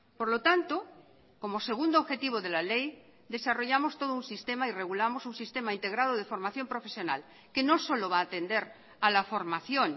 por lo tanto como segundo objetivo de la ley desarrollamos todo un sistema y regulamos un sistema integrado de formación profesional que no solo va a atender a la formación